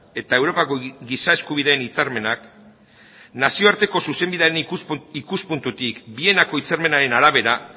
eta europako giza eskubideen hitzarmenak nazioarteko zuzenbidean ikuspuntutik vienako hitzarmenaren arabera